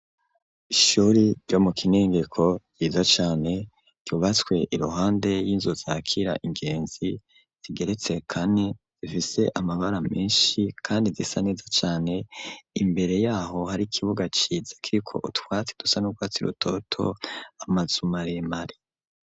Ishuri ryo mu kinengeko ryiza cane ryubatswe iruhande y'inzu zakira ingenzi zigeretse kane zifise amabara menshi kandi zisa neza cane imbere yaho hari ikibuga ciza kiriko utwatsi dusa nurwatsi rutoto amazu maremare.